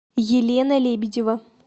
елена лебедева